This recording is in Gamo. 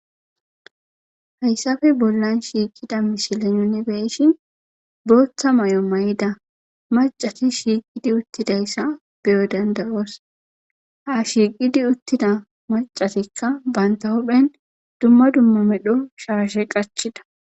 hayssafe bollan shiiqida misile nunibeyshi booththa may7o may7ida macati shiiqidi uttidayssa beyo dandayoos ha shiiqidi uttida macatikka banta huphphen dumma dumma medho shaashe qachida